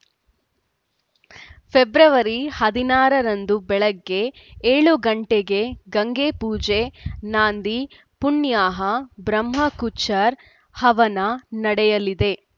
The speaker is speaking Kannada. ಫೆಬ್ರವರಿ ಹದಿನಾರರಂದು ಬೆಳಗ್ಗೆ ಏಳು ಗಂಟೆಗೆ ಗಂಗೆಪೂಜೆ ನಾಂದಿ ಪುಣ್ಯಾಹ ಬ್ರಹ್ಮಕೂಚ್‌ರ್‍ ಹವನ ನಡೆಯಲಿದೆ